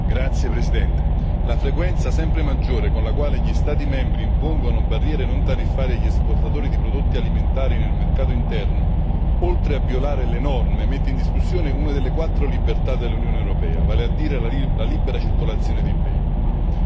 Signor Presidente, onorevoli colleghi, la frequenza sempre maggiore con la quale gli Stati membri impongono barriere non tariffarie agli esportatori di prodotti alimentari nel mercato interno, oltre a violare le norme, mette in discussione una delle quattro libertà dell'Unione europea, vale a dire la libera circolazione dei beni.